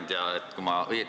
Hea ettekandja!